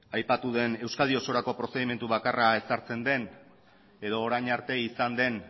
aipatu den euskadi osorako prozedura bakarra ezartzen den edo orain arte izan den